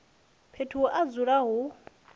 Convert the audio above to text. fhethu ha u dzula hu